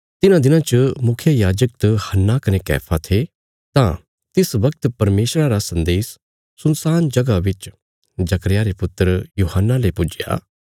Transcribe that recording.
तिन्हां दिनां च मुखियायाजक त हन्ना कने कैफा थे तां तिस वगत परमेशरा रा सन्देश सुनसान जगह बिच जकर्याह रे पुत्र यूहन्ना ले पुज्जया